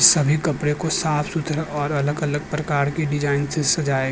सभी कपड़े को साफ सुथरा और अलग-अलग प्रकार की डिज़ाइन से सजाया गया है।